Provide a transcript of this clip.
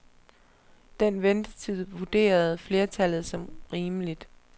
Den ventetid vurderede flertallet som rimeligt.